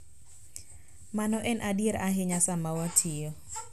Mano en adier ahinya sama watiyo .